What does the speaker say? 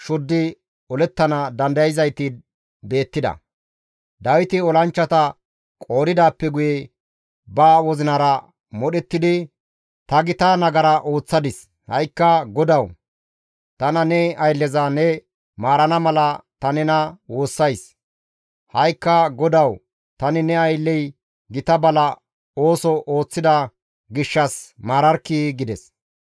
Dawiti olanchchata qoodidaappe guye ba wozinara modhettidi, «Ta gita nagara ooththadis; ha7ikka GODAWU! Tana ne aylleza ne maarana mala ta nena woossays; ha7ikka GODAWU tani ne aylley gita bala ooso ooththida gishshas maararkkii?» gides.